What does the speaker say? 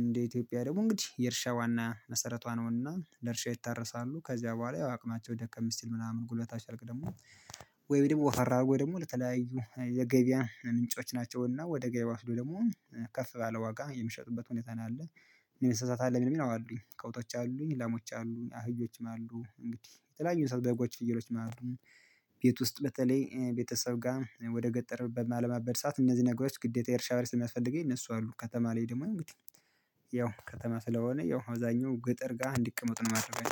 እንደ ኢትዮጵያ ደግሞ እንግዲህ የእርሻ ዋና መሰረቷ ነውና ለእርሻ ይታረሳሉ። ከዚያ በኋላ አቅማቸው ደከም ሲል ምናምን ጉልበታቸ ካልክ ደግሞ ወፈር አድርጎ ደግሞ ለተለያዩ የገቢያ ምንንጮች ናቸውና። ወደ ገበያ ሲሄዱ ደግሞ ከፍ ባለ ዋጋ የምሸጡበት ሁኔታ ነው አለ። የእንሰሳት አለ ሚሉኝ አዋ አሉኝ ከብቶች አሉኝ ላሞች አሉኝ አህዮችም አሉ እንግዲህ የተለያዩ የሰው በጎች ፍየሎችም አሉ። ቤት ውስጥ በተለይ ቤተሰብ ጋር ወደ ገጠር በማለማበት ሰዓት እነዚህ ነገሮች ግዴታ የእርሻ በሬ ስለሚያስፈልገኝ እነሱ አሉ። ከተማ ላይ ደግሞ ያው ከተማ ስለሆነ ያው አብዛኛው ገጠር ጋር እንድቅመጥ ነው የማደርጋቸው